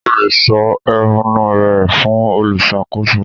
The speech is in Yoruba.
O le sọ ehúnú rẹ fún olùṣàkóso náà.